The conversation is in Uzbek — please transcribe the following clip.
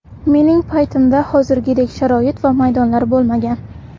Mening paytimda hozirgidek sharoit va maydonlar bo‘lmagan.